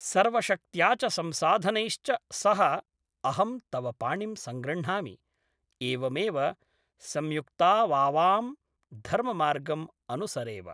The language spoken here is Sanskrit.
सर्वशक्त्या च संसाधनैश्च सह अहं तव पाणिं संगृह्णामि, एवमेव संयुक्तावावां धर्ममार्गम् अनुसरेव।